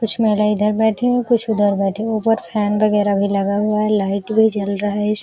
कुछ महिलाये इधर बैठी हुई कुछ उधर बैठी हुई उधर फैन वगैरह भी लगा हुआ है। लाइट भी जल रहा है।